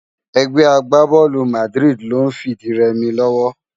Ègbè àgbábòlú Màdiridi ló n fi di rèmi lòwò